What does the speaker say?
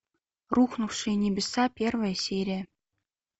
рухнувшие небеса первая серия